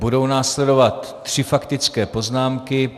Budou následovat tři faktické poznámky.